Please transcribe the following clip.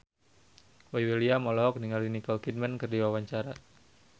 Boy William olohok ningali Nicole Kidman keur diwawancara